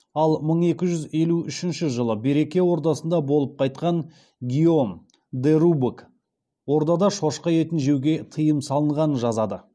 ал мың екі жүз елу үшінші жылы береке ордасында болып қайтқан гийом де рубук ордада шошқа етін жеуге тиым салынғанын жазады